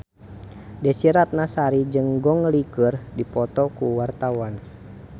Desy Ratnasari jeung Gong Li keur dipoto ku wartawan